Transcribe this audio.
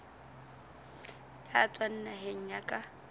ya tswang naheng ya ka